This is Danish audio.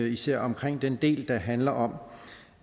især den del der handler om